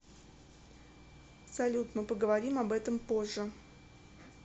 салют мы поговорим об этом позже